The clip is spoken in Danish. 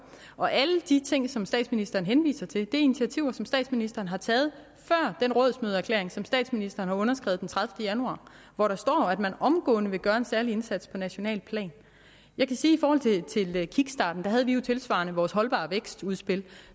og alle de ting som statsministeren henviser til er initiativer som statsministeren har taget før der rådsmødeerklæring som statsministeren underskrev den tredivete januar hvor der står at man omgående vil gøre en særlig indsats på nationalt plan jeg kan sige i forhold til kickstarten at vi jo tilsvarende havde vores holdbar vækst udspil